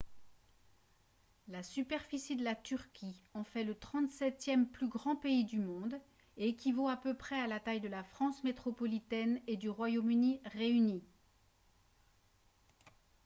la superficie de la turquie en fait le 37e plus grand pays du monde et équivaut à peu près à la taille de la france métropolitaine et du royaume-uni réunis